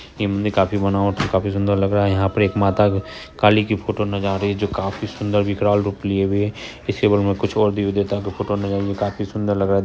ये काफी बना काफी सुंदर लग रहा है यहां पर एक माता काली की फोटो ना जा रही है। जो काफी सुंदर विकराल रूप लिए हुए इसके बगल में कुछ और देवी देवता का फोटो काफी सुंदर लग रहा --